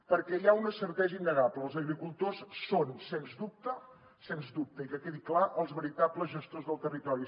perquè hi ha una certesa innegable els agricultors són sens dubte sens dubte i que quedi clar els veritables gestors del territori